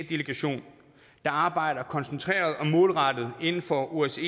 delegation der arbejder koncentreret og målrettet inden for osce